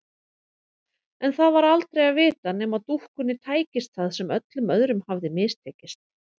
En það var aldrei að vita nema dúkkunni tækist það sem öllum öðrum hafði mistekist.